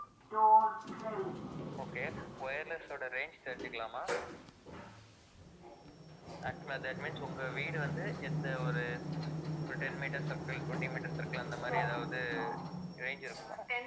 okay wireless ஓட range தெரிஞ்சுக்கலாமா? actual ஆ that means உங்க வீடு வந்து எந்த ஒரு, ஒரு ten meter circle twenty meter circle அந்த மாதிரி ஏதாவது range இருக்கும்,